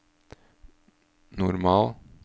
normal